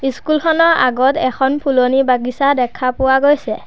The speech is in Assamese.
স্কুল খনৰ আগত এখন ফুলনি বাগিচা দেখা পোৱা গৈছে।